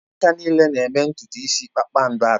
Ụmụaka niile na-eme ntutu isi kpakpando atọ